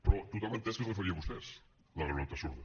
però tothom ha entès que es referia a vostès la granota sorda